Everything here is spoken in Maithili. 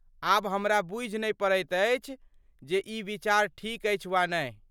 आब हमरा बूझि नहि पड़ैत अछि जे ई विचार ठीक अछि वा नहि।